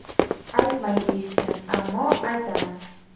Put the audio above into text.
Aytmang deyishgan, ammo aytaman.